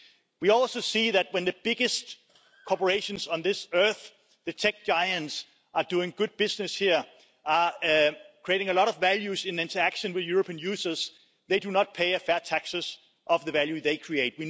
We also see that when the biggest corporations on this earth, the tech giants, are doing good business here, creating a lot of value in their interaction with European users, they do not pay fair taxes on the value they create.